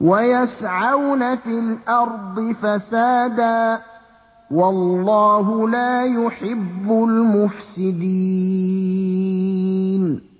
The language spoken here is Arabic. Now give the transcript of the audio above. وَيَسْعَوْنَ فِي الْأَرْضِ فَسَادًا ۚ وَاللَّهُ لَا يُحِبُّ الْمُفْسِدِينَ